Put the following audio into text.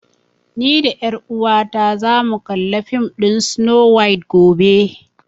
Ni da ƴar uwata za mu kalli fim ɗin Snow White gobe